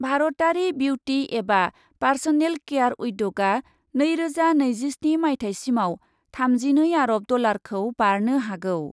भारतारि बिउटि एबा personal care उद्यगआ नैरोजा नैजिस्नि माइथायसिमआव थामजिनै आरब डलारखौ बारनो हागौ।